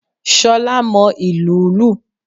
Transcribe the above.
Solá mo ìlù ú lù